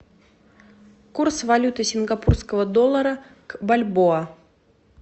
курс валюты сингапурского доллара в бальбоа